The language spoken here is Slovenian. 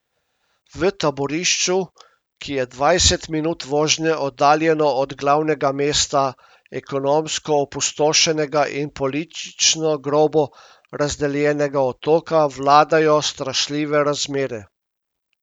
V taborišču, ki je dvajset minut vožnje oddaljeno od glavnega mesta ekonomsko opustošenega in politično grobo razdeljenega otoka, vladajo strašljive razmere.